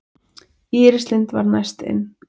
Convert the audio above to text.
Íris Lind var næst inn